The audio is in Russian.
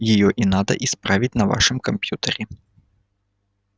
её и надо исправить на вашем компьютере